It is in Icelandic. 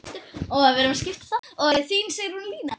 Þín Sigrún Lína.